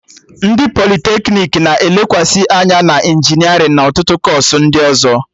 Ndị politeknik na-elekwasị anya na injinerịn na ọtụtụ kọọsụ ndị ọzọ